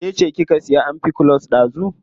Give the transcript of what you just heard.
Ke ce kika siya amfikulus dazu.